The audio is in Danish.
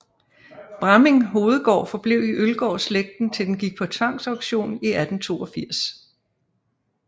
Bramming Hovedgård forblev i Øllgård slægten til den gik på tvangsaktion i 1882